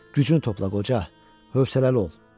Gücünü topla qoca, hövsələli ol.